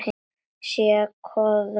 Sé að koðna niður.